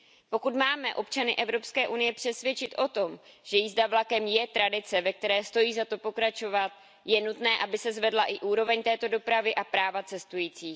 Pokud máme občany Evropské unie přesvědčit o tom, že jízda vlakem je tradice, ve které stojí za to pokračovat, je nutné, aby se zvedla i úroveň této dopravy a práva cestujících.